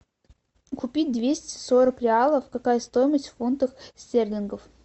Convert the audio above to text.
купить двести сорок реалов какая стоимость в фунтах стерлингов